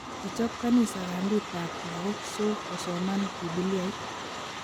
Kichob kanisa kambit ab lokok so kosoman bibiliait